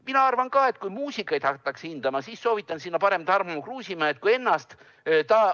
Mina arvan ka, et kui muusikat hakatakse hindama, siis soovitan pigem Tarmo Kruusimäed kui ennast.